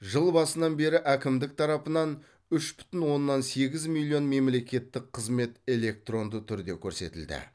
жыл басынан бері әкімдік тарапынан үш бүтін оннан сегіз миллион мемлекеттік қызмет электронды түрде көрсетілді